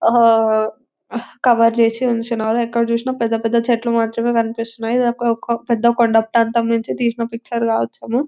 cover చేసి ఉంచినారు ఎక్కడ చూసినా పెద్దపెద్ద చెట్లు మాత్రమే కనిపిస్తున్నయి --